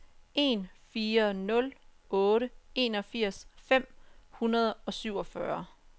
en fire nul otte enogfirs fem hundrede og syvogfyrre